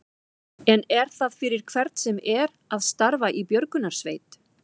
En er það fyrir hvern sem er að starfa í björgunarsveit?